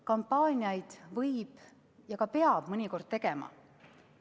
Kampaaniaid võib teha ja ka peab mõnikord tegema.